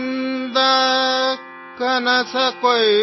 ದಿನ್ ಚಲಾ ಗಯಾ ಹೈ ಔರ್ ಅಂಧೇರಾ ಹೈ